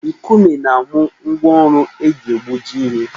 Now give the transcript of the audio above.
Nkume na-amụ ngwa ọrụ eji egbuji ihe